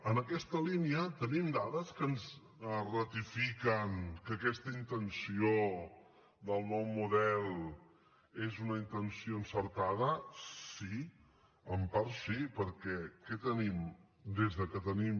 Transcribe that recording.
en aquesta línia tenim dades que ens ratifiquen que aquesta intenció del nou model és una intenció encertada sí en part sí perquè què tenim des que tenim